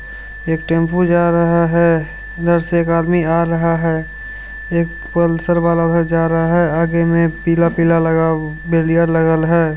एक टेम्पू जा रहा है एक आदमी आ रहा है एक पल्सर वाला भी जा रहा है आगे में पीला पिला बैरियर लगा है।